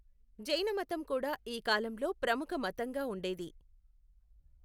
జైనమతం కూడా ఈ కాలంలో ప్రముఖ మతంగా ఉండేది.